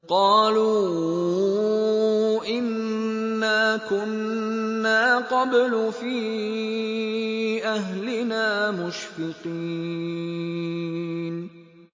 قَالُوا إِنَّا كُنَّا قَبْلُ فِي أَهْلِنَا مُشْفِقِينَ